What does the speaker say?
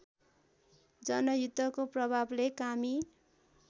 जनयुद्धको प्रभावले कामी